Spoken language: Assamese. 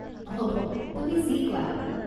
হ'ব, তুমি যি কোৱা।